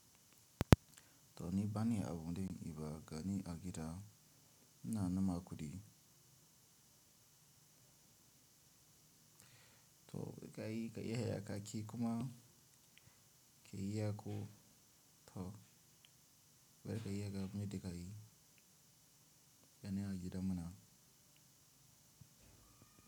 To ni bani abunde yin ba gani agida ina neman kudi. To kai kai iya kayeyyaki kuma ke iya ko toh. Ber ka iya ka muyadda kayi gani agidan munan.